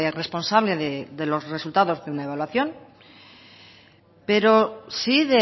responsable de los resultados de una evaluación pero sí